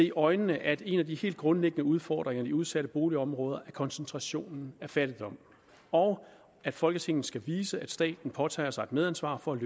i øjnene at en af de helt grundlæggende udfordringer i de udsatte boligområder er koncentrationen af fattigdom og at folketinget skal vise at staten påtager sig et medansvar for at